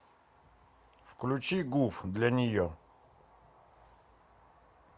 включи гуф для нее